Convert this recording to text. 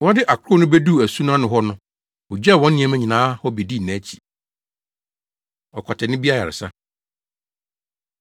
Wɔde akorow no beduu asu no ano hɔ no, wogyaw wɔn nneɛma nyinaa hɔ bedii nʼakyi. Ɔkwatani Bi Ayaresa